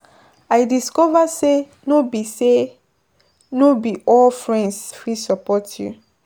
I discover say no be say no be all friends fit support you.